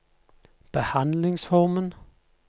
behandlingsformen